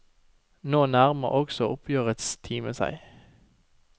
Nå nærmer også oppgjørets time seg.